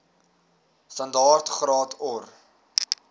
standaard graad or